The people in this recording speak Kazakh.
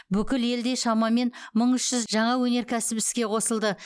бүкіл елде шамамен мың үш жұз жаңа өнеркәсіп іске қосылды